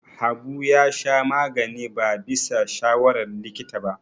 Habu ya sha magani ba bisa shawarar likita ba.